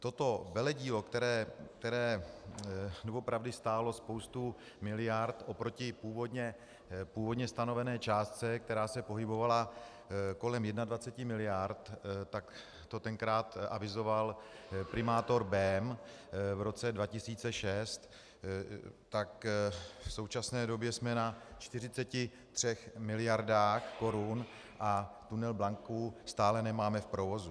Toto veledílo, které doopravdy stálo spoustu miliard oproti původně stanovené částce, která se pohybovala kolem 21 miliard, tak to tenkrát avizoval primátor Bém v roce 2006, tak v současné době jsme na 43 miliardách korun a tunel Blanka stále nemáme v provozu.